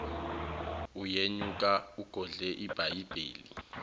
uyenyuka ugodle ibhayibheli